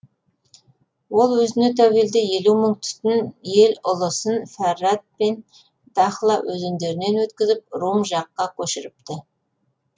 ол өзіне тәуелді елк мың түтін ел ұлысын фәрат пен дахла өзендерінен өткізіп рум жаққа көшіріпті